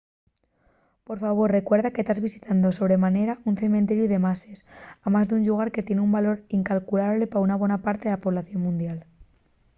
por favor recuerda que tas visitando sobre manera un cementeriu de mases amás d’un llugar que tien un valor incalculable pa una bona parte de la población mundial